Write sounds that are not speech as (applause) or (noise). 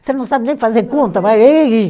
Você não sabe nem fazer conta. (unintelligible)